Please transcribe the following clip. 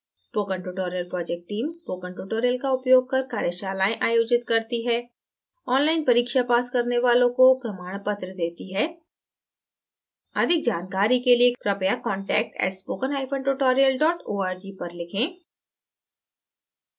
spoken tutorial project teamspoken tutorial का उपयोग कर कार्यशालाएं आयोजित करती है ऑनलाइन परीक्षा पास करने वालों को प्रमाण पत्र देती है